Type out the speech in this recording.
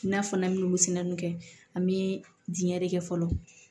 N'a fɔ n'an bɛ wusulanw kɛ an be diɲɛ de kɛ fɔlɔ